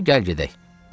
İndi gəl gedək.